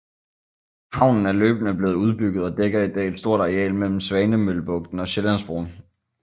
Havnen er løbende blevet udbygget og dækker i dag et stort areal mellem Svanemøllebugten og Sjællandsbroen